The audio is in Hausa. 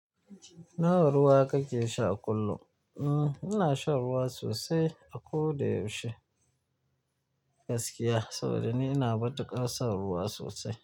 Nawa ruwa kake sha kullum? Hmm, ina shan ruwa sosai a ko da yaushe gaskiya, saboda ni ina matuƙar son ruwa sosai.